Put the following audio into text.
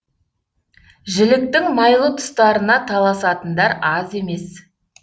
жіліктің майлы тұстарына таласатындар аз емес